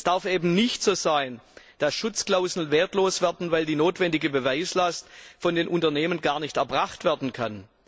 Es darf eben nicht so sein, dass Schutzklauseln wertlos werden, weil die notwendige Beweislast von den Unternehmen gar nicht erbracht werden kann.